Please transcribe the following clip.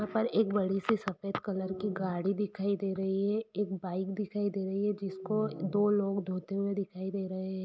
यहां पर एक बड़ी सी सफेद कलर की गाड़ी दिखाई दे रही है एक बाइक दिखाई दे रही है जिसको दो लोग धोते हुए दिखाई दे रहे हैं।